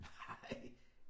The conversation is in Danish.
Nej